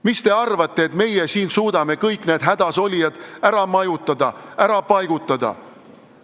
Kas te arvate, et meie siin suudame kõik need hädasolijad ära majutada, ära paigutada?